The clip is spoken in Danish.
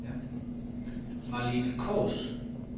Malene Kaas